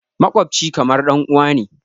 Maƙwabci kamar ɗanuwa ne.